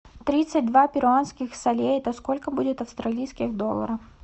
тридцать два перуанских солей это сколько будет австралийских долларов